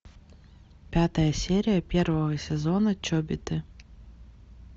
пятая серия первого сезона чобиты